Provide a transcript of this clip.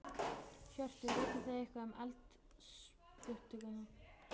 Hjörtur: Vitið þið eitthvað um eldsupptök?